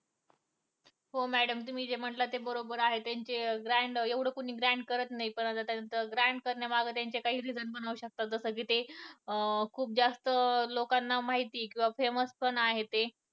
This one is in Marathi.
हो madam तुम्ही जे म्हटलं ते बरोबर आहे त्यांचे grand एवढं grand कोणी करत नाही पण करण्यामागे त्याचे काही reason पण असू शकतात कि जे खुप जास्त लोकांना माहित आहे कि जे खुप famous पण आहे